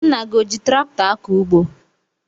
Nna gị o ji traktọ akọ ugbo?